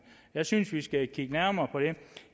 jeg synes vi skal kigge nærmere på det